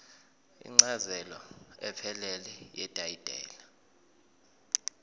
incazelo ephelele yetayitela